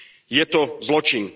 Je to zločin.